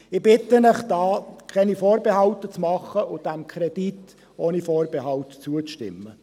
Ich bitte Sie, hier keine Vorbehalte zu machen und diesem Kredit ohne Vorbehalte zuzustimmen.